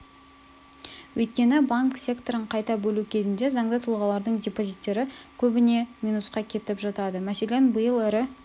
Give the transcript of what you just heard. өйткені банк секторын қайта бөлу кезінде заңды тұлғалардың депозиттері көбіне минусқа кетіп жатады мәселен биыл ірі